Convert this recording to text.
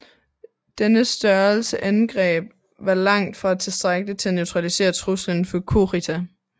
Denne størrelse angreb var langt fra tilstrækkelig til at neutralisere truslen fra Kurita